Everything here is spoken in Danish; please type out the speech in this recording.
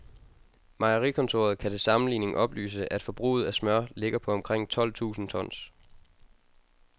Mejerikontoret kan til sammenligning oplyse, at forbruget af smør ligger på omkring tolv tusinde tons.